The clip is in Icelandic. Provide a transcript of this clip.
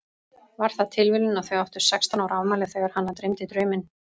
Var það tilviljun að þau áttu sextán ára afmæli þegar hana dreymdi drauminn?